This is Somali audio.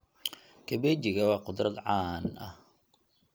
Kabejiga waa khudrad caan ah.